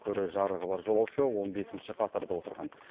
көрер жарығы бар жолаушы он бесінші қатарда отырған